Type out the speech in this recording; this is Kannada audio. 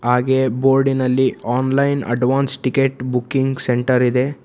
ಹಾಗೆ ಬೋರ್ಡಿನಲ್ಲಿ online advance ticket booking centre ಇದೆ.